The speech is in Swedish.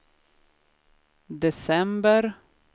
december